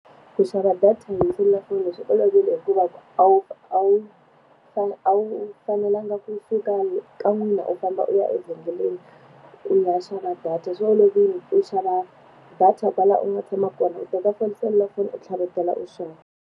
Ku xava data hi selulafoni swi olovile hikuva a wu a wu a wu fanelanga kusuka ka n'wina u famba u ya evhengeleni, u ya xava data. Swi olovile hikuva u xava data kwala u nga tshama kona u teka foni na selulafoni u tlhavetela u xava.